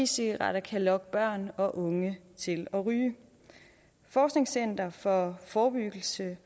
cigaretter kan lokke børn og unge til at ryge forskningscenter for forebyggelse